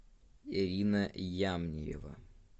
ирина ямниева